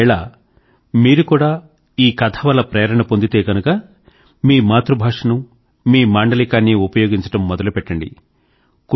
ఒకవేళ మీరు కూడా ఈ కథ వల్ల ప్రేరణ పొందితే గనుక మీ మాతృ భాషనూ మీ మాండలీకాన్నీ ఉపయోగించడం మొదలు పెట్టండి